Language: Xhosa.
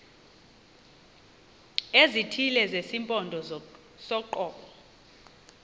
ezithile zesimpondo soqobo